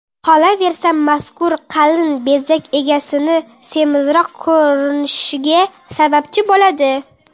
Qolaversa, mazkur qalin bezak egasini semizroq ko‘rinishiga sababchi bo‘ladi.